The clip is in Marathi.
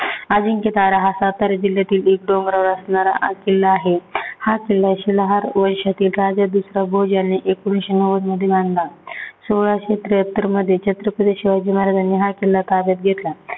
अजिंक्यतारा हा सातारा जिल्ह्यातील एक डोंगरावर असणारा किल्ला आहे. हा किल्ला शिलाहार वैशातील राजे दुसरा भोज ह्यांनी एकोणीशे नव्वद मध्ये आणला. सोळाशे त्याहात्तर मध्ये छत्रपती शिवाजी महाराजांनी हा किल्ला ताब्यात घेतला